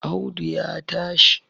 Audu ya tashi